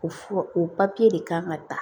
O fura o papiye de kan ka ta